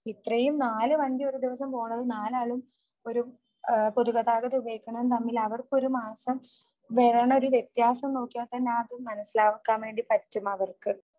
ഇത്രയും നാല് വണ്ടി ഒരു ദിവസം പോണത് നാലാളും ഒരു പൊതുഗതാഗതം ഉപയോഗിക്കണതും തമ്മിൽ അവർക്കൊരുമാസം വരുന്ന ഒരു വ്യത്യാസം നോക്കിയാൽ തന്നെ അത് മനസിലാക്കാൻ വേണ്ടി പറ്റും അവർക്ക്.